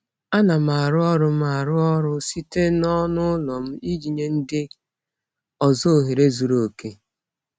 Ana m arụ ọrụ m arụ ọrụ site n'ọnụ ụlọ m iji nye ndị ọzọ ohere zuru oke.